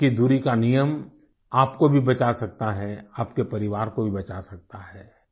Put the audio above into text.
दो गज की दूरी का नियम आपको भी बचा सकता है आपके परिवार को भी बचा सकता है